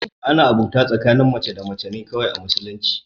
Ana abota tsakanin mace da mace ne kawai a musulunci